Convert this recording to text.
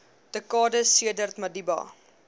dekades sedert madiba